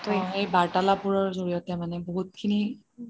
এই বাৰ্তালাপবোৰৰ জৰিয়তে মানে বহুত খিনি